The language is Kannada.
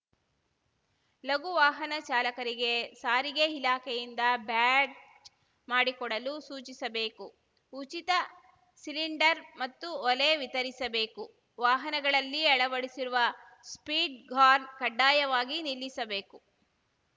ಲಘುವಾಹನ ಚಾಲಕರಿಗೆ ಸಾರಿಗೆ ಇಲಾಖೆಯಿಂದ ಬ್ಯಾಡ್ಜ‌ ಮಾಡಿಕೊಡಲು ಸೂಚಿಸಬೇಕು ಉಚಿತ ಸಿಲಿಂಡರ್‌ ಮತ್ತು ಒಲೆ ವಿತರಿಸಬೇಕು ವಾಹನಗಳಲ್ಲಿ ಅಳವಡಿಸಿರುವ ಸ್ಪೀಡ್‌ ಘಾರ್‌ ಕಡ್ಡಾಯವಾಗಿ ನಿಲ್ಲಿಸಬೇಕು